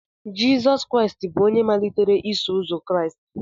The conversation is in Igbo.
Jizọs Kraịst bụ onye malitere Iso Ụzọ Kraịst